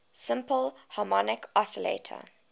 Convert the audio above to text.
simple harmonic oscillator